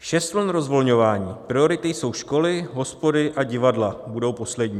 Šest vln rozvolňování, priority jsou školy, hospody a divadla budou poslední.